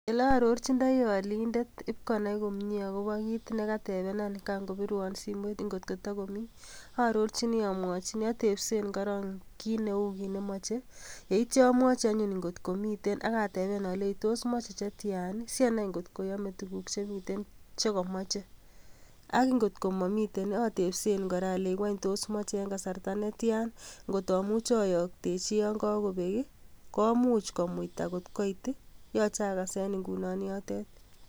Ele ororjini olindet ib konai komye agobo kit ne katebenan kan kobirwon simoit kotko tokomii. Aororjini amwojini, atepsen korong kit neu kit nemoche yeityo amwaji anyun angot ko miten. Ak ateben alenji tos moche che tyan asi anai kotko yome tuguk che miten che komoche. Ak ingotko momiten atebsen kora olenji ng'wany tos moche en kasarta ne tyan, ngot amuche oyokyi yon kagobek, komuch komuita kot koit yoche agasen ngunon yotet.